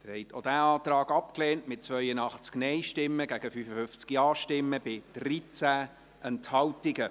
Sie haben auch diesen Antrag abgelehnt, mit 82 Nein- gegen 55 Ja-Stimmen bei 13 Enthaltungen.